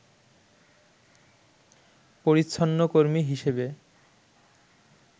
পরিচ্ছন্নকর্মী হিসেবে